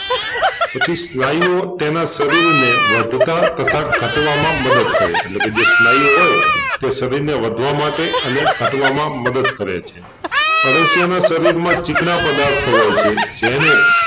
પછી સ્નાયુઓ તેના શરીરને વધતાં તથા ઘટવામાં મદદ કરે એટલેકે જે સ્નાયુ હોય તે શરીરને વધવા માટે અને ઘટવામાં મદદ કરે છે અળસિયાનાં શરીરમાં ચીકણા પદાર્થો હોય છે જેને